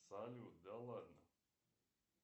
салют да ладно